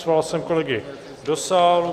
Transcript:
Svolal jsem kolegy do sálu.